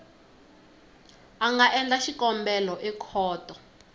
a nga endla xikombelo ekhoto